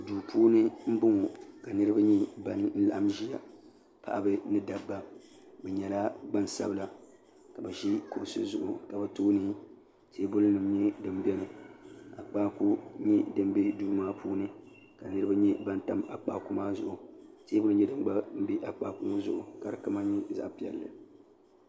do puuni n bɔŋɔ ka niriba ban laɣim ʒɛya paɣ' ba ni da ba bɛ nyɛla gbasabila ka bɛ ʒɛ kuɣisi zuɣ ka be tuuni ka tɛbuli nyɛ din bɛni akpaku nyɛ di bɛ do maa puuni ka niriba nyɛ ban tam akpaku maa zuɣ tɛbuli ka di kama nyɛ zaɣ piɛli